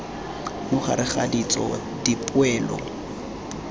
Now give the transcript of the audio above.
mo gareg ga ditso dipoelo